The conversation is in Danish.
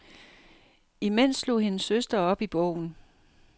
Imens slog hendes søster op i bogen.